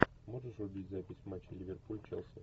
можешь врубить запись матча ливерпуль челси